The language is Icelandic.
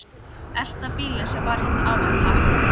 Elta bílinn sem var hérna áðan, takk!